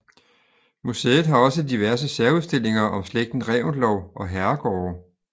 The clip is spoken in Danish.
Museet har også diverse særudstillinger om slægten Reventlow og herregårde